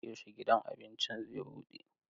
Yaushe gidan abincin zai bude?